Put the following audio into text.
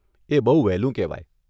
એ બહુ વહેલું કહેવાય.